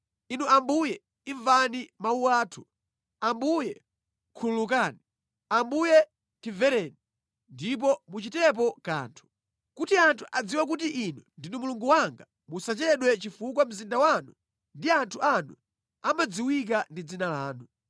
Inu Ambuye imvani mawu athu! Ambuye khululukani! Ambuye timvereni, ndipo muchitepo kanthu! Kuti anthu adziwe kuti Inu ndinu Mulungu wanga musachedwe chifukwa mzinda wanu ndi anthu anu amadziwika ndi dzina lanu.”